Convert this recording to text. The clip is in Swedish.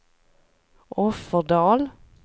Offerdal